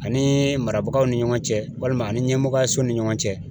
Ani marabagaw ni ɲɔgɔn cɛ walima ani ɲɛmɔgɔyaso ni ɲɔgɔn cɛ